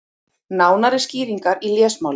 Nánari skýringar í lesmáli.